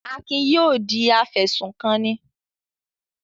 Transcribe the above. Akin yóò di afẹ̀sùnkanni.